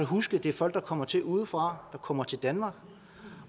huske at det er folk der kommer til udefra der kommer til danmark